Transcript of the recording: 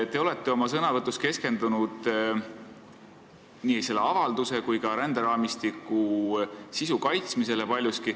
Te olete oma sõnavõtus paljuski keskendunud nii selle avalduse kui ka ränderaamistiku sisu kaitsmisele.